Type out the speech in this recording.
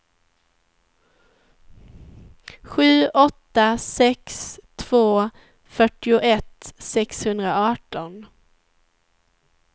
sju åtta sex två fyrtioett sexhundraarton